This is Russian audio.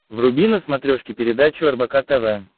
вруби на смотрешке передачу рбк тв